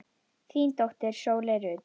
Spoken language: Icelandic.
Þín dóttir, Sóley Rut.